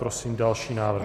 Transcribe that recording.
Prosím další návrh.